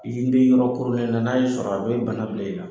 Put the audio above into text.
Ii be yɔrɔ koronnen la, n'a y'i sɔrɔ a bɛ bana bila i la.